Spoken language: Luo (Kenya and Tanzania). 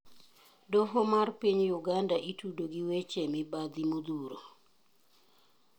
Doho mar piny Uganda itudo gi weche mibadhi modhuro.